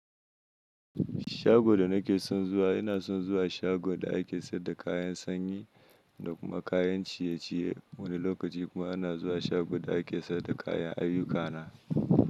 Shago da nake son zuwa ina son zuwa shagon da ake sayar da kayan sanyi da kuma kayan ciye-ciye. Wani lokaci kuma ana zuwa shago da ake sayar da kayan ayyukana.